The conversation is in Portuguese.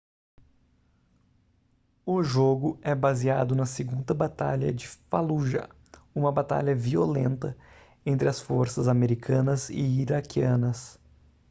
o jogo é baseado na segunda batalha de fallujah uma batalha violenta entre as forças americanas e iraquianas